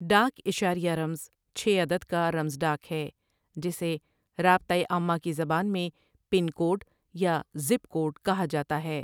ڈاک اشاریہ رمز چھ عدد کا رمز ڈاک ہے جسے رابطہ عامہ کی زبان میں پن کوڈ یا ژپ کوڈ کہا جاتا ہے ۔